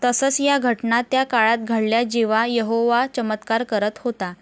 तसंच, या घटना त्या काळात घडल्या जेव्हा यहोवा चमत्कार करत होता.